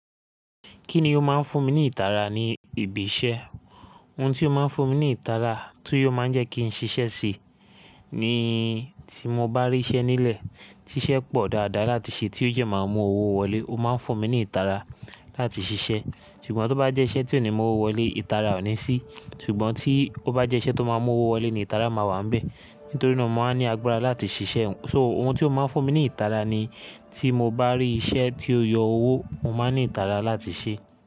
Kíni ó máa ń fún mi ní ìtara ni ìbí iṣẹ́? Ohun ti o máa ń fún mi ní ìtara ti o máa ń jẹ́ kí n ṣiṣẹ́ sí i ni tí mo bá rí iṣẹ́ nílẹ̀ tí iṣẹ́ pọ̀ dáadáa láti ṣe tí ó dẹ́ máa mú owó wọlé, ó máa ń fún mi ní ìtara láti ṣiṣẹ́. Ṣùgbọ́n tó bá jẹ́ iṣẹ́ tí ò ní mu owó wọlé, ìtara ò ní sí. Ṣùgbọ́n tí ó bá jẹ́ iṣẹ́ tó máa ń mú owó wọlé ni ìtara máa wà níbẹ̀. Nítorí náà mo máa ń ní agbára láti ṣiṣẹ́. So ohun ti o máa ń fún mi ní ìtara ni tí mo bá rí iṣẹ́ tí ó yọ owó, mo máa ní ìtara láti ṣe.